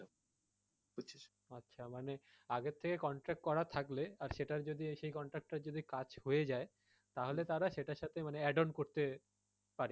আচ্ছা মানে আগের থেকে contract করা থাকলে আর সেটার যদি সেই contract টার যদি একটা যদি কাজ হয়ে যায় তাহলে তারা সেটার সাথে add on করতে পারে।